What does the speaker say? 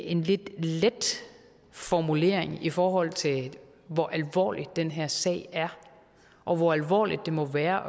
en lidt let formulering i forhold til hvor alvorlig den her sag er og hvor alvorligt det må være